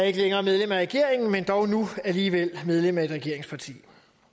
ikke længere er medlem af regeringen men dog nu alligevel medlem af et regeringsparti